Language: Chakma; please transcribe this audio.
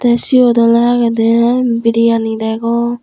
e siyot oley agedey biriyani degong.